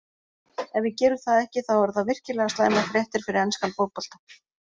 Ef við gerum það ekki þá eru það virkilega slæmar fréttir fyrir enskan fótbolta